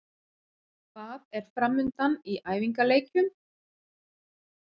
Hvað er framundan í æfingaleikjum?